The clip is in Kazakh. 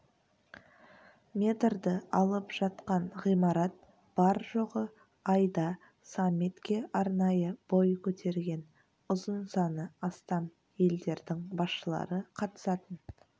метрді алып жатқан ғимарат бар-жоғы айда саммитке арнайы бой көтерген ұзынсаны астам елдердің басшылары қатысатын